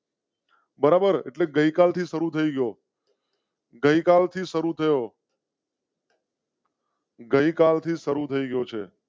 બરાબર એટલે ગઈ કાલ થી શરૂ થયો. ગઈ કાલ થી શરૂ કરો. ગઈ કાલ થી શરૂ થયો છે.